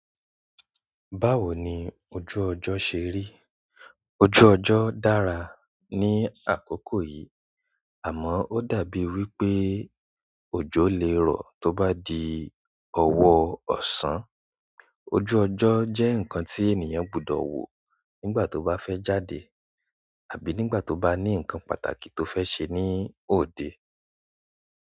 Báwo ni ojú ọjọ́ ṣe rí? Ojú ọjọ́ dára ní àkókò yìí, àmọ́ ó dàbí wí pé òjò lè rọ̀ tó bá di ọwọ́ ọ̀sán. Ojú ọjọ́ jẹ́ nǹkan tí ènìyàn gbudọ̀ wò nígbà tó bá fẹ́ jáde àbí nígbà tó bá ní nǹkan pàtàkì tó fẹ́ ṣe ní òde.